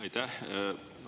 Aitäh!